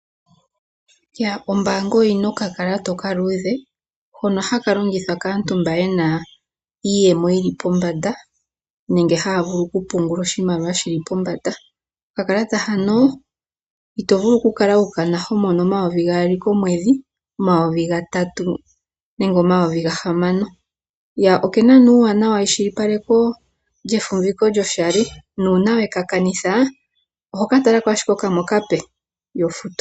Ombaanga oyina okakalata okaluudhe hoka haka longithwa kaantu mboka yena iiyemo yili pombanda nenge haya vulu okupungula oshimaliwa shili pombanda. Okakalata hano itovulu okukala wukana homono 2000 komweedhi 3000 nenge 6000. Okena nee omawuwanawa geshilipaleko lyefumbiko lyoshali nuuna weka kanitha oho katalako ashike kamwe okape ihofutu.